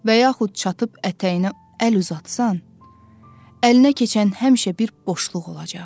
Və yaxud çatıb ətəyinə əl uzatsan, əlinə keçən həmişə bir boşluq olacaq.